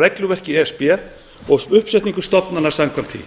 regluverki e s b og uppsetningu stofnana samkvæmt því